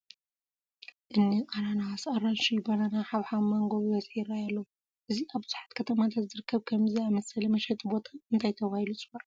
እኒ ኣናናስ፣ ኣራንሺ፣ በናና፣ ሓብሓብ፣ ማንጐ ብብዝሒ ይርአዩ ኣለዉ፡፡ እዚ ኣብ ብዙሓት ከተማታት ዝርከብ ከምዚ ዝኣምሰለ መሸጢ ቦታ እንታይ ተባሂሉ ይፅዋዕ?